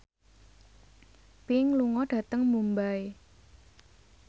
Pink lunga dhateng Mumbai